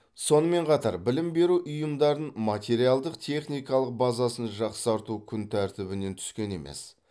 сонымен қатар білім беру ұйымдарын материалдық техникалық базасын жақсарту күн тәртібінен түскен емес